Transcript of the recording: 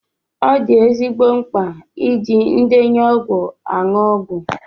Ọ dị ezigbo mkpa iji ndenye ọgwụ aṅụ ọgwụ.